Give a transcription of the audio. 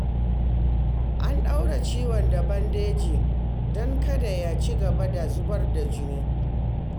An ɗaure ciwon da bandeji don kada ya cigaba da zubar jini